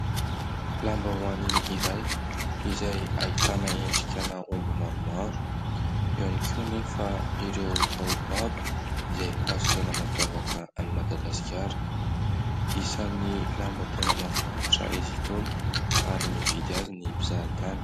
Lambahoany iray izay ahitana endrikana omby maromaro. Eo ihany ko anefa ireo baobaba izay hazo tena mampiavaka ny Madagasikara. Isan'ny lamba tena mahafinaritra izy tony ary mividy azy ny mpizahatany.